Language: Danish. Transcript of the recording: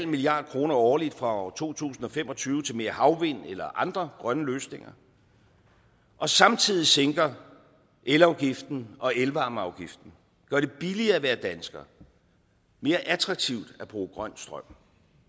milliard kroner årligt fra år to tusind og fem og tyve til mere havvind eller andre grønne løsninger og samtidig sænker elafgiften og elvarmeafgiften gør det billigere at være dansker og mere attraktivt at bruge grøn strøm